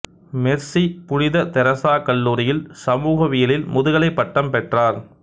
Mercy புனித Teresa கல்லூரியில் சமூகவியலில் முதுகலைப் பட்டம் பெற்றார்